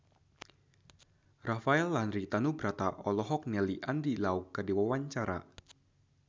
Rafael Landry Tanubrata olohok ningali Andy Lau keur diwawancara